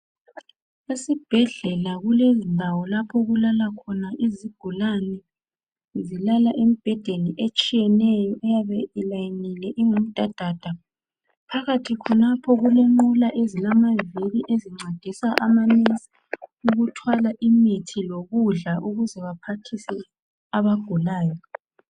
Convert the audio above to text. Esibhedlela kulendawo lapho okulala khona izigulani zilala embhedeni etshiyeneyo eyabe ilayinile ingumdadada. Phakathi khonapho kulenqola ezilamaviri ezincedisa amanesi ukuthwala imithi lokudla ukuze baphathise abagulayo.